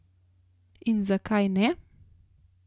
In zakaj ne?